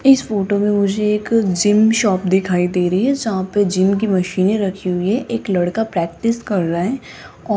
इस फोटो मे मुझे एक जिम शॉप दिखाई दे रही है जहां पे जिम की मशीनें रखी हुई है एक लड़का प्रैक्टिस कर रहा है।